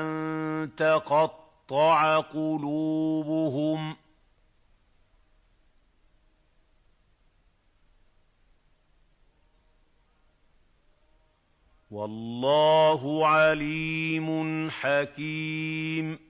أَن تَقَطَّعَ قُلُوبُهُمْ ۗ وَاللَّهُ عَلِيمٌ حَكِيمٌ